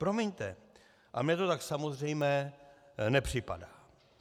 Promiňte, ale mně to tak samozřejmé nepřipadá.